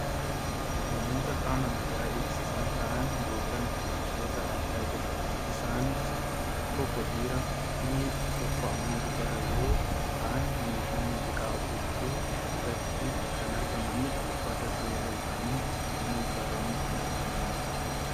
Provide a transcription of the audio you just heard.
Namoota qaama nagaa eegsisan ta'an yookaan poolisoota argaa jirra. Isaanis tokko dhiiraafi tokko ammoo dubara yoo ta'an meeshaa muuziqaa afuufuu irratti kan argamanidha. Uffata seeraa isaanii ammoo uffatanii kan argamanidha.